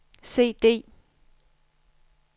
CD